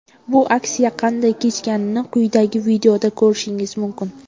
Bu aksiya qanday kechganini quyidagi videoda ko‘rishingiz mumkin.